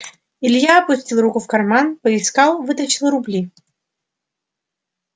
илья опустил руку в карман поискал вытащил рубли